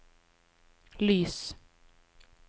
lys